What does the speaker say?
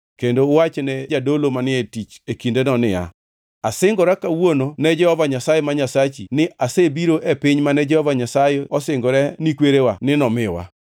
kendo uwach ne jadolo manie tich e kindeno niya, “Asingora kawuono ne Jehova Nyasaye ma Nyasachi ni asebiro e piny mane Jehova Nyasaye osingore ni kwerewa ni nomiwa.”